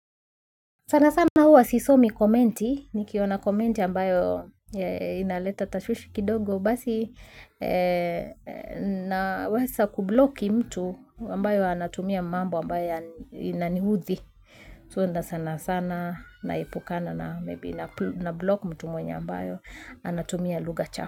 Sana sana huwa sisomi komenti, nikiona komenti ambayo inaleta tashwishi kidogo, basi na wasa kubloki mtu ambayo anatumia mambo ambayo inanihuthi. So nda sana sana, naepukana na maybe nablok mtu mwenye ambayo anatumia lugha chafu.